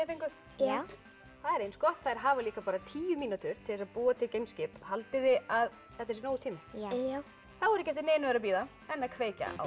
fenguð já það er eins gott þær hafa bara tíu mínútur til þess að búa til geimskip haldið þið að þetta sé nógur tími já þá er ekki eftir neinu að bíða en að kveikja á